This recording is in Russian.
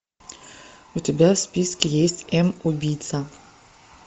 у тебя в списке есть м убийца